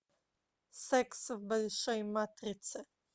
секс в большой матрице